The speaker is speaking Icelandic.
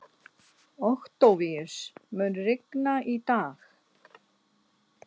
Októvíus, mun rigna í dag?